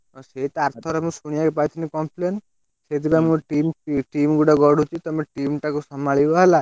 ହଁ ସେଇତ ଆରଥରକ ଶୁଣିଆକୁ ପାଇଥିଲି complain ସେଇଥିପାଇଁ ମୁଁ ଗୋଟେ team ଗୋଟେ ଗଢୁଛି ତମେ team ଟାକୁ ସମ୍ଭାଳିବ ହେଲା।